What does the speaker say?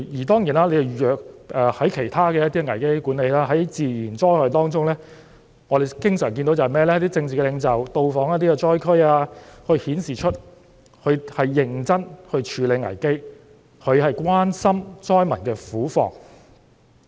當然，從其他地方一些危機管理的例子可見，在發生自然災害時，我們經常看到一些政治領袖到訪災區，以顯示他們是認真地處理危機，關心災民的苦況。